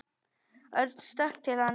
Örn stökk til hans.